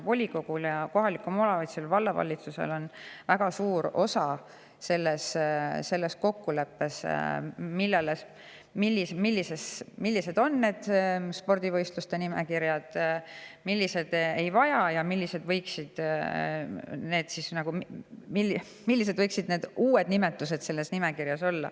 Volikogul ja kohalikul omavalitsusel on väga suur osa selles kokkuleppes, millised spordivõistlused vajavad luba ja millised ei vaja ja millised võiksid olla uued nimetused selles nimekirjas.